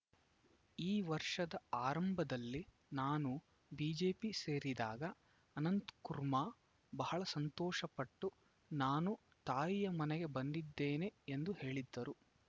ಈ ವರ್ಷದ ಆರಂಭದಲ್ಲಿ ನಾನು ಬಿಜೆಪಿ ಸೇರಿದಾಗ ಅನಂತಕುರ್ಮ ಬಹಳ ಸಂತೋಷಪಟ್ಟು ನಾನು ತಾಯಿಯ ಮನೆಗೆ ಬಂದಿದ್ದೇನೆ ಎಂದು ಹೇಳಿದ್ದರು